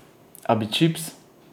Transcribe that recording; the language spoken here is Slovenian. A bi čips?